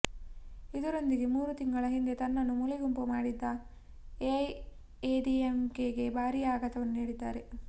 ಇದರೊಂದಿಗೆ ಮೂರು ತಿಂಗಳ ಹಿಂದೆ ತನ್ನನ್ನು ಮೂಲೆಗುಂಪು ಮಾಡಿದ್ದ ಎಐಎಡಿಎಂಕೆಗೆ ಭಾರೀ ಆಘಾತವನ್ನು ನೀಡಿದ್ದಾರೆ